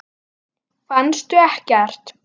Fannstu ekkert?